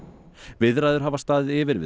viðræður hafa staðið yfir við